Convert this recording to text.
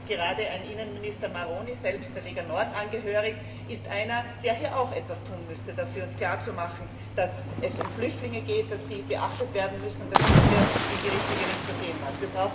Gerade ein Innenminister Maroni, selbst der Lega Nord angehörig, ist einer, der auch etwas dafür tun müsste, klar zu machen, dass es um Flüchtlinge geht, die beachtet werden müssen, und dass es hier in die richtige Richtung gehen muss.